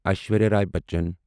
Aishwarya Rai Bachchan